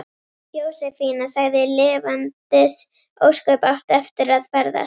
Jósefína sagði: Lifandis ósköp áttu eftir að ferðast.